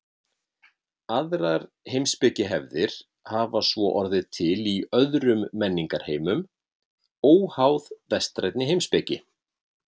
Aðrar heimspekihefðir hafa svo orðið til í öðrum menningarheimum óháð vestrænni heimspeki.